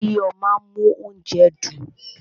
Iyo máa ń mú óúnjẹ dùn.